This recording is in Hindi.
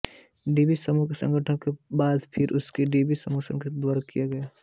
डीबी समूह के गठन के बाद फिर उनके डीबी समूह द्वारा किया गया था